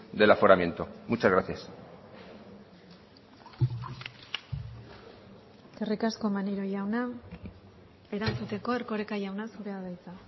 del aforamiento muchas gracias eskerrik asko maneiro jauna erantzuteko erkoreka jauna zurea da hitza